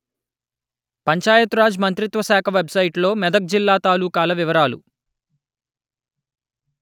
పంచాయత్ రాజ్ మంత్రిత్వ శాఖ వెబ్‌సైటులో మెదక్ జిల్లా తాలూకాల వివరాలు